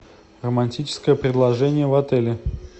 романтическое предложение в отеле